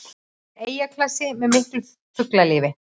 Þetta er eyjaklasi með miklu fuglalífi